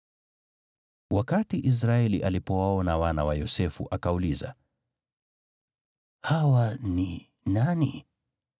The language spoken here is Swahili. Wakati Israeli alipowaona wana wa Yosefu, akauliza, “Hawa ni nani?”